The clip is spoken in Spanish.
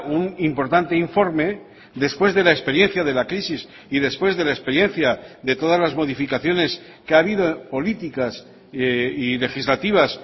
un importante informe después de la experiencia de la crisis y después de la experiencia de todas las modificaciones que ha habido políticas y legislativas